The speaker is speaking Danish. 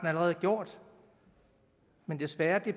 allerede har gjort men desværre